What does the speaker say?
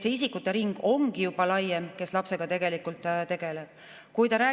See isikute ring, kes lapsega tegelikult tegeleb, ongi juba laiem.